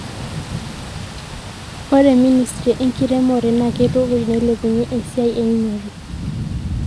Ore ministry enkiremore naa keitukuj neilepunyie esiaai eunore.